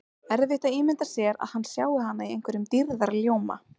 Erfitt að ímynda sér að hann sjái hana í einhverjum dýrðarljóma.